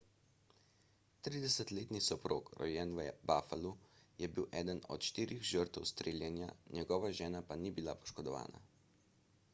30-letni soprog rojen v buffalu je bil eden od štirih žrtev streljanja njegova žena pa ni bila poškodovana